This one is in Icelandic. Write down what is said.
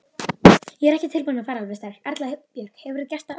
Ég er ekki tilbúinn að fara alveg strax.